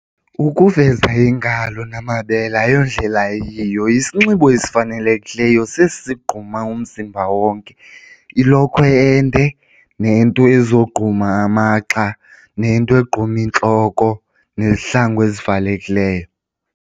Ukuveza iingalo namabele ayondlela eyiyo, isinxibo esifanelekileyo sesi sigquma umzimba wonke. Ilokhwe ende nento ezogquma amagxa nento egquma intloko nezihlangu ezivalekileyo.